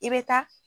I bɛ taa